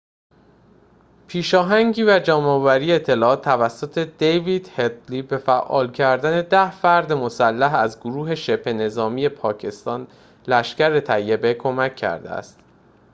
پیشاهنگی و جمع‌آوری اطلاعات توسط دیوید هدلی به فعال کردن ۱۰ فرد مسلح از گروه شبه نظامی پاکستان لشکر طیبه کمک کرده است